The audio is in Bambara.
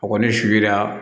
A kɔni su la